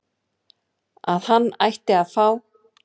að hann ætti að fá